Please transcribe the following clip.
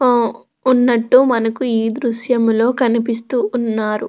ఆ ఉన్నట్టు మనకు ఈ దృశ్యంలో కనిపిస్తూ ఉన్నారు.